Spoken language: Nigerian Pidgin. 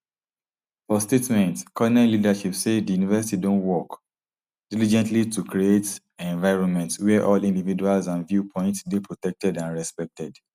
for statement cornell leadership say di university don work diligently to create environment wia all individuals and viewpoints dey protected and respected